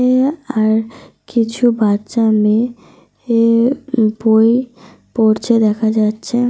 অ্যা আর কিছু বাচ্চা মেয়ে বই পড়ছে দেখা যাচ্ছে।